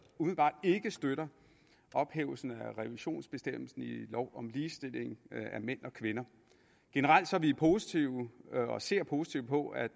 umiddelbart ikke støtter ophævelsen af revisionsbestemmelsen i lov om ligestilling af mænd og kvinder generelt er vi positive og ser positivt på at